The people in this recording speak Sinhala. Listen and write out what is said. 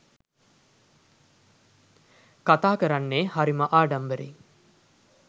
කතා කරන්නේ හරිම ආඩම්බරෙන්.